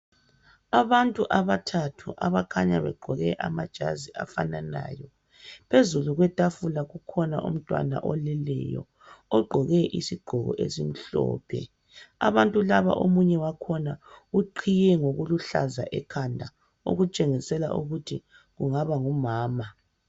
Abantu abathathu abakhanya begqoke amajazi afananayo. Phezu kwetafula, kukhona umntwana oleleyo. Ogqoke isigqoko esimhlophe. Omunye wakhona, uqhiye ngokuluhlaza ekhanda. Okutshengisela ukuthi kungaba ngumama.